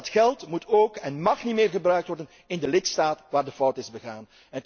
Dat geld moet ook en mag niet meer gebruikt worden in de lidstaat waar de fout is begaan.